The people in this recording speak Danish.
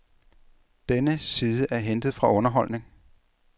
Denne side er hentet fra underholdning.